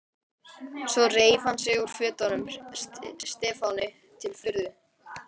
Svo reif hann sig úr fötunum, Stefáni til furðu.